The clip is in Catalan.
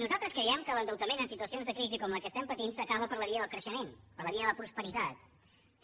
nosaltres creiem que l’endeutament en situacions de crisi com la que patim s’acaba per la via del creixement per la via de la prosperitat